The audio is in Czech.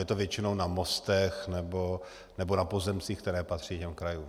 Je to většinou na mostech nebo na pozemcích, které patří těm krajům.